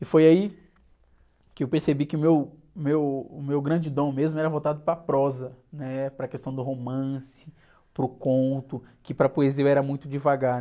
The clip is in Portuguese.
E foi aí que eu percebi que o meu, meu, meu grande dom mesmo era voltado para a prosa, para a questão do romance, para o conto, que para a poesia eu era muito devagar.